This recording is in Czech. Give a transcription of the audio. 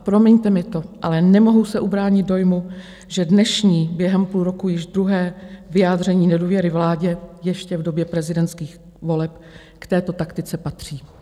A promiňte mi to, ale nemohu se ubránit dojmu, že dnešní, během půl roku již druhé vyjádření nedůvěry vládě, ještě v době prezidentských voleb, k této taktice patří.